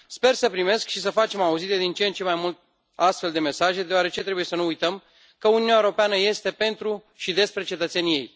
Sper să primesc și să facem auzite din ce în ce mai multe astfel de mesaje, deoarece trebuie să nu uităm că Uniunea Europeană este pentru și despre cetățenii ei.